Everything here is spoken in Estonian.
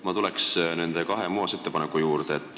Ma tuleks nende kahe muudatusettepaneku juurde.